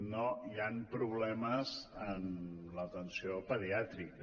no hi han problemes en l’atenció pediàtrica